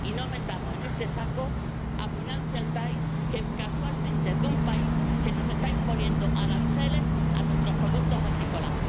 Y no metamos en este saco a Financial Times que, casualmente, es de un país que está imponiendo aranceles a nuestros productos agrícolas.